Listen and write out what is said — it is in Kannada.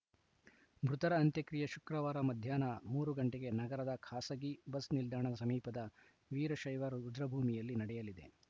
ಮೃತರ ಅಂತ್ಯಕ್ರಿಯೆ ಶುಕ್ರವಾರ ಮಧ್ಯಾಹ್ನ ಮೂರು ಗಂಟೆಗೆ ನಗರದ ಖಾಸಗಿ ಬಸ್‌ನಿಲ್ದಾಣದ ಸಮೀಪದ ವೀರಶೈವ ರುದ್ರಭೂಮಿಯಲ್ಲಿ ನಡೆಯಲಿದೆ